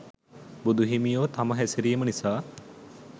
බුදු හිමියෝ තම හැසිරීම නිසා